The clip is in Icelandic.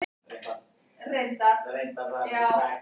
Er það rétt að það sé ekki gert?